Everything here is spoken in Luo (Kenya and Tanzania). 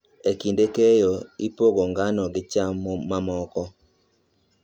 E kinde keyo, ipogo ngano gi cham mamoko.